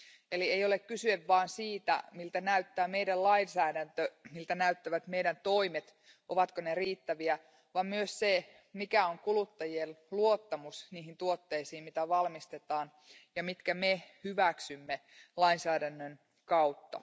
Eli ei ole kyse vain siitä, miltä meidän lainsäädäntömme näyttää, miltä meidän toimemme näyttävät, ovatko ne riittäviä, vaan myös siitä, mikä on kuluttajien luottamus niihin tuotteisiin, joita valmistetaan ja jotka me hyväksymme lainsäädännön kautta.